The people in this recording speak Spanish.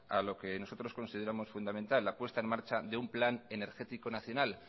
a lo que nosotros consideramos fundamental la puesta en marcha de un plan energético nacional